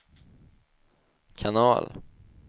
kanal